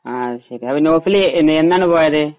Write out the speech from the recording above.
ആ അത് ശരിയാ നൗഫല് എന്നാണ് പോയത്